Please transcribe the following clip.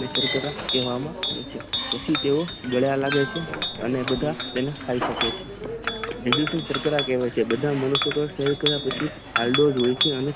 નિષ્ક્રરા કહેવામાં આવે છે પછી તે ગળા હલાવે છે અને બધા તેને ખાઈ શકે છે જીડીશુ સંકર કહેવાય છે બધા મનુષ્યો સેવન કરિયા પછી આયોડીન